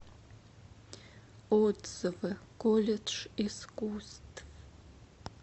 отзывы колледж искусств